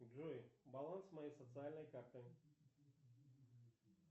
джой баланс моей социальной карты